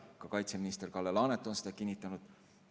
Ka kaitseminister Kalle Laanet on seda kinnitanud.